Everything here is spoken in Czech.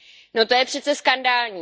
No to je přece skandální.